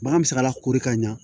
Bagan mi se ka lakori ka ɲa